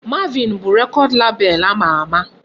Marvin bụ record label ama ama.